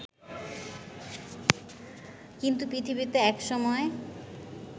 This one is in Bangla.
কিন্তু পৃথিবীতে একসময়